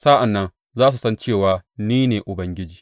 Sa’an nan za su san cewa ni ne Ubangiji.